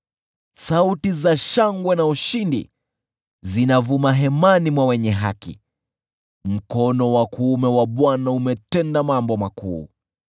Sauti za shangwe na ushindi zinavuma hemani mwa wenye haki: “Mkono wa kuume wa Bwana umetenda mambo makuu!